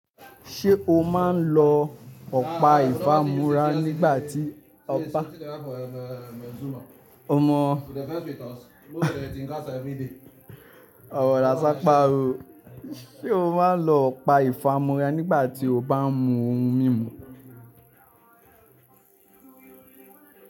Ṣé o máa ń lọ ọ̀pá ìfámúrá nígbà tí ọba? O mọ ọmọ na sapa o. Ṣé o máa ń lọ ọ̀pá ìfámúrá nígbà tí o bá ń mu ohun mímu?